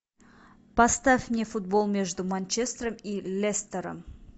поставь мне футбол между манчестером и лестером